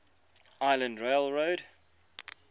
island rail road